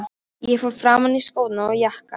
Ég fór fram og í skóna og jakkann.